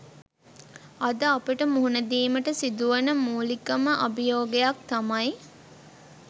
අද අපට මුහුණ දීමට සිදුවන මූලිකම අභියෝගයක් තමයි